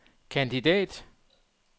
kandidat